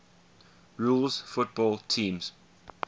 rules football teams